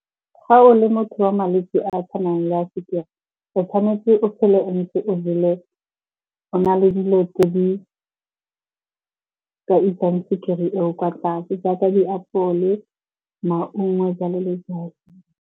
Ga o le motho wa malwetse a a tshwanang le a sukiri, o tshwanetse o phele o ntse o na le dijo tse di ka isang sukiri eo kwa tlase jaaka diapole, maungo jalo le jalo.